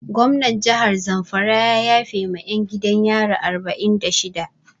Gomnan jahar zamfara ya yafe ma 'yan gidan yari arba'in da shida.